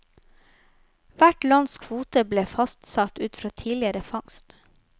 Hvert lands kvote ble fastsatt ut fra tidligere fangst.